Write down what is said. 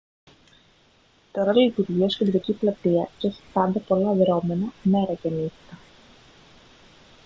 τώρα λειτουργεί ως κεντρική πλατεία και έχει πάντα πολλά δρώμενα μέρα και νύχτα